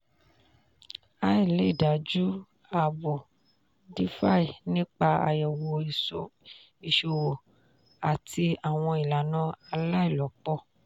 "ai" lè dájú ààbò "defi" nípa àyẹ̀wò ìṣòwò àti àwọn ìlànà aláìlòpọ̀.